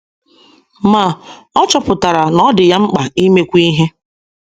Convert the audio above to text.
Ma, ọ chọpụtara na ọ dị ya mkpa imekwu ihe.